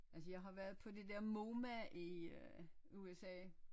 Altså jeg har været på det der MoMA i øh USA